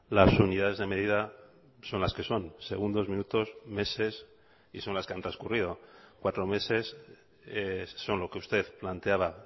las unidades de medida son las que son segundos minutos meses y son las que han transcurrido cuatro meses son lo que usted planteaba